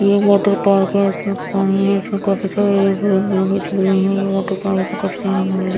ये water park है इसमें पानी है इसमें काफी सारा ये वॉटर पार्क काफी सारा --